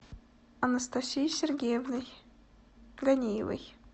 анастасией сергеевной ганиевой